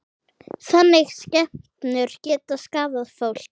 Þannig skepnur geta skaðað fólk.